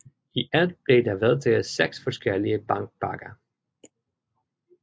I alt blev der vedtaget seks forskellige bankpakker